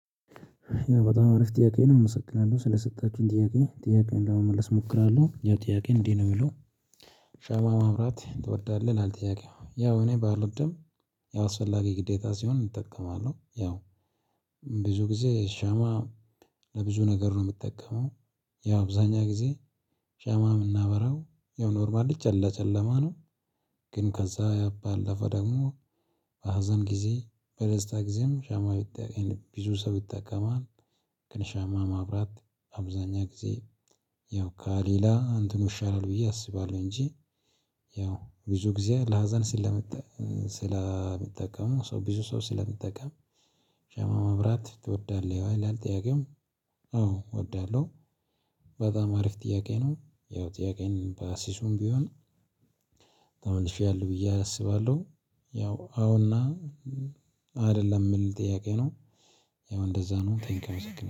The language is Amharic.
በጣም አሪፍ ጥያቄ ነው እመሰግናለሁ ስለሰጣችሁኝ ጥያቄ ጥያቄውን ለመመለስ እሞክራለሁ ያው ጥያቄ እንዲህ ነው የሚለው? ሻማ ማብራት ትወዳለህ ይላል ጥያቄው ያው እኔ ባልወድም። ያው አስፈላጊ ግዴታ ሲሆን እጠቀማለሁ ያው። ብዙ ጊዜ ሻማ ለብዙ ነገር ነው የምጠቀመው። ያው አብዛኛ ጊዜ ሻማ እምናበራው ያው ኖርማል ለጨለማ ነው። ግን ከዛ ባለፈ ደግሞ በሀዘን ጊዜ በደስታ ጊዜም ሻማ ቢጠቀም ቢዙ ሰው ይጠቀማል። ከሻማ ማብራት አብዛኛ ጊዜ ያው ካሊላ እንትኑ ይሻላል ብዬ አስባለሁ እንጂ። ያው ብዙ ጊዜ ለሀዘን ስለምንጠቀመው ሰው ብዙ ሰው ስለሚጠቀም። ሻማ መብራት ትወዳለህ ወይ ይላል ጥያቄው? አዎ እወዳለሁ። በጣም አሪፍ ጥያቄ ነው ያው ጥያቄን በአሲሱም ቢሆን መልሼያለሁ ብዬ አስባለሁ። ያው አዎና አይደለም የምል ጥያቄ ነው? ያው እንደዛ ነው ቴንኪው አመሰግናለሁ